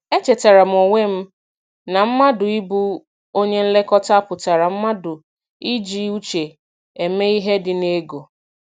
E chetara m onwe m na mmadụ ị bụ onye nlekọta pụtara mmadụ iji uche eme ihe dị n'ego.